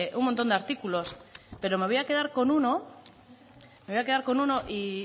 un montón de artículos pero me voy a quedar con uno me voy a quedar con uno y